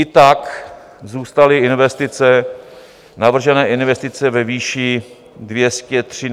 I tak zůstaly investice, navržené investice, ve výši 213 miliard korun.